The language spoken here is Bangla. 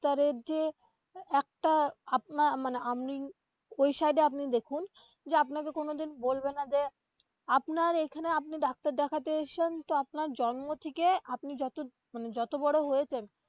ডাক্তারের যে একটা আপনার মানে আপনি ওই side এ আপনি দেখুন যে আপনাকে কোনোদিন বলবেনা যে আপনার এইখানে আপনি ডাক্তার দেখাতে এসেছেন তো আপনার জন্ম থেকে আপনি যত মানে যত বড়ো হয়েছেন.